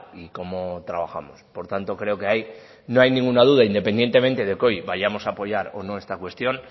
y cómo trabajamos por tanto creo que ahí no hay ninguna duda independientemente que hoy vayamos a apoyar o no esta cuestión